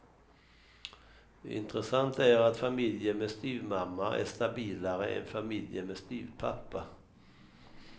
Intressant är att familjer med styvmamma är stabilare än familjer med styvpappa.